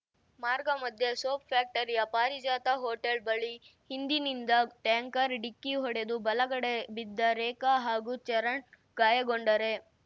ಮಾರ್ಗ ಮಧ್ಯೆ ಸೋಪ್ ಫ್ಯಾಕ್ಟರಿಯ ಪಾರಿಜಾತ ಹೋಟೆಲ್ ಬಳಿ ಹಿಂದಿನಿಂದ ಟ್ಯಾಂಕರ್ ಡಿಕ್ಕಿ ಹೊಡೆದು ಬಲಗಡೆ ಬಿದ್ದ ರೇಖಾ ಹಾಗೂ ಚರಣ್ ಗಾಯಗೊಂಡರೆ